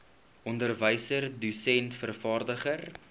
onderwyser dosent vervaardiger